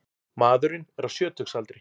Maðurinn er á sjötugsaldri